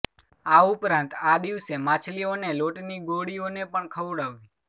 આ ઉપરાંત આ દિવસે માછલીઓને લોટની ગોળીઓને પણ ખવડાવવી